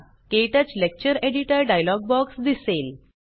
क्टच lecture editor dialog box दिसेल